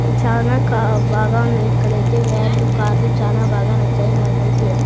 చానా కా బాగా ఉన్నాయి ఇక్కడైతే వాన్లు కార్లు చాలా బాగా నచ్చాయి నాకైతే--